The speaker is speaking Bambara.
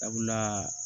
Sabula